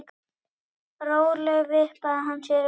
Rólega vippaði hann sér upp.